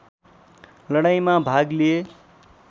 लडाईँमा भाग लिए